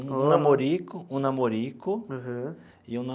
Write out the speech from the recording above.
Um namorico um namorico. Aham. E um